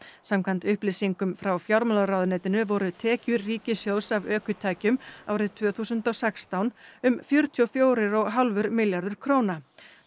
samkvæmt upplýsingum frá fjármálaráðuneytinu voru tekjur ríkissjóðs af ökutækjum árið tvö þúsund og sextán um fjörutíu og fjórir og hálfur milljarður króna